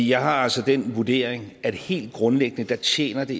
jeg har altså den vurdering at helt grundlæggende tjener det